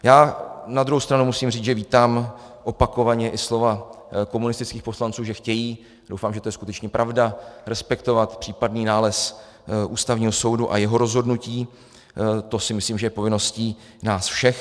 Já na druhou stranu musím říci, že vítám opakovaně i slova komunistických poslanců, že chtějí - doufám, že to je skutečně pravda - respektovat případný nález Ústavního soudu a jeho rozhodnutí, to si myslím, že je povinností nás všech.